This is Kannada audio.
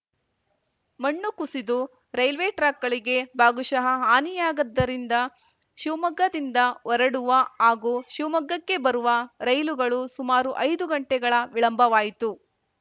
ಮಣ್ಣು ಕುಸಿದು ರೈಲ್ವೆ ಟ್ರಾಕ್‌ಗಳಿಗೆ ಭಾಗಶಃ ಹಾನಿಯಾಗದ್ದರಿಂದ ಶಿವಮೊಗ್ಗದಿಂದ ಹೊರಡುವ ಹಾಗೂ ಶಿವಮೊಗ್ಗಕ್ಕೆ ಬರುವ ರೈಲುಗಳು ಸುಮಾರು ಐದು ಗಂಟೆಗಳ ವಿಳಂಬವಾಯಿತು